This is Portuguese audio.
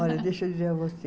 Olha, deixa eu dizer a você.